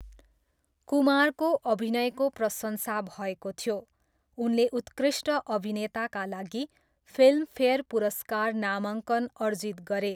कुमारको अभिनयको प्रशंसा भएको थियो, उनले उत्कृष्ट अभिनेताका लागि फिल्मफेयर पुरस्कार नामाङ्कन अर्जित गरे।